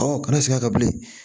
Ɔ kana segin a kan bilen